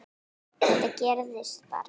Þetta gerðist bara?!